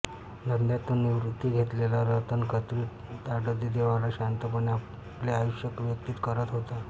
धंद्यातून निवृत्ती घेतलेला रतन खत्री ताडदेवला शांतपणे आपले आयुष्य व्यतीत करत होता